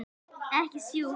Ekki sjúkt.